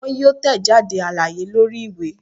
Wọn yoo tẹjade alaye lori iwe